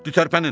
Gedi tərpənin!